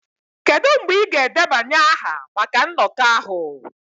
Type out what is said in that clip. Kedu mgbe ị ga-edebanye aha maka nnọkọ ahụ?